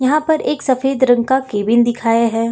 यहां पर एक सफेद रंग का केबिन दिखाया है।